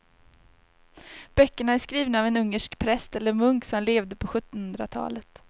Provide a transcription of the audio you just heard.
Böckerna är skrivna av en ungersk präst eller munk som levde på sjuttonhundratalet.